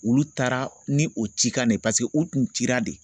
Olu taara ni o cikan de ye? paseke u Kun cira de.